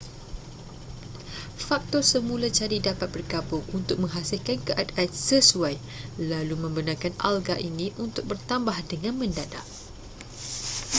faktor semula jadi dapat bergabung untuk menghasilkan keadaan sesuai lalu membenarkan alga ini untuk bertambah dengan mendadak